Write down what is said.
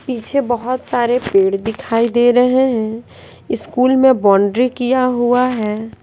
पीछे बहोत सारे पेड़ दिखाई दे रहे हैं स्कूल में बाउंड्री किया हुआ है।